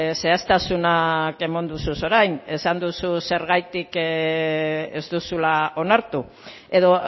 zehaztasunak eman dituzu orain esan duzu zergatik ez duzula onartu edo